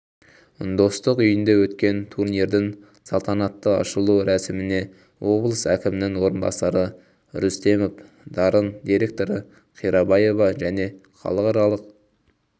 достық үйінде өткен турнирдің салтанатты ашылу рәсіміне облыс әкімінің орынбасары рүстемов дарын директоры қирабаева және халықаралық